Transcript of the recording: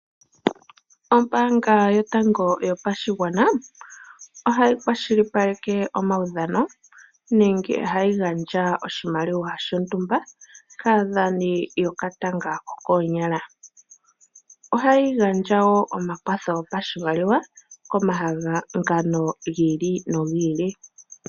Ombaanga yotango yopashigwana ohayi kwashilipaleka omawudhano nenge hayi gandja oshimaliwa shontumba kaadhani yokatanga ko koonyala. Ohayi gandja wo omakwatho go pashimaliwa komahangano giili nogiili.